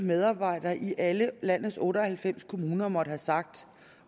medarbejder i alle landets otte og halvfems kommuner måtte have sagt